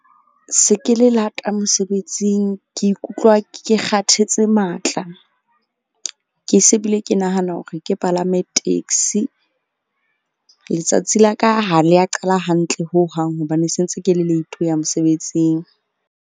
Se ke le lata mosebetsing. Ke ikutlwa ke kgathetse matla. Ke se bile ke nahana hore ke palame taxi. Letsatsi la ka ha le a qala hantle hohang hobane se ntse ke le late ho ya mosebetsing.